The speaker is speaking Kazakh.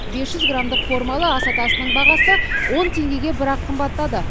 бес жүз грамдық формалы ас атасының бағасы он теңгеге бір ақ қымбаттады